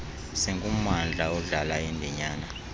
singummandla odlala indinyana